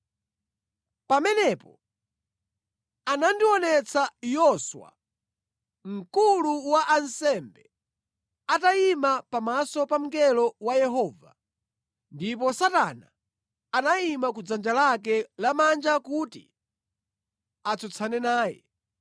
Pamenepo anandionetsa Yoswa, mkulu wa ansembe, atayima pamaso pa mngelo wa Yehova, ndipo Satana anayima ku dzanja lake lamanja kuti atsutsane naye.